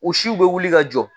U siw bɛ wuli ka jɔ.